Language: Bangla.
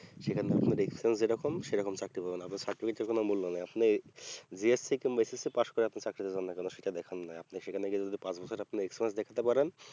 সেখানে experience যেইরকম সেরকম চাকরি পাবে না আবা certificate এর কোনো মূল্য হবে না আপনি BHC কিংবা SSC পাশ করে আপনি চাকরি পাবেন না কেনো সেটা দেখার নোই আপনি সেখানে গিয়ে যদি পাঁচ বছর আপনি experience দেখতে পারেন